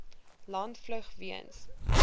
land vlug weens